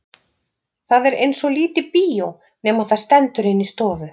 Það er eins og lítið bíó nema það stendur inni í stofu.